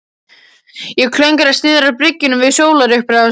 Ég klöngraðist niðrá bryggjuna við sólarupprás.